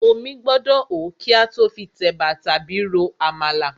Omí gbọ́dọ̀ hó kí a tó fi tẹ̀bà tàbí ro àmàlà.